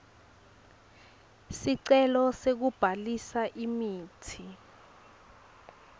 sicelo sekubhalisa imitsi